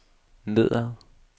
nedad